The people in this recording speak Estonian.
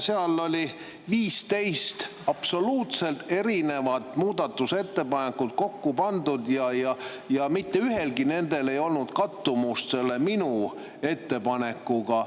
Seal oli 15 absoluutselt erinevat muudatusettepanekut kokku pandud ja mitte ühelgi neist ei olnud kattumust minu ettepanekuga.